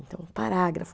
Então, parágrafo.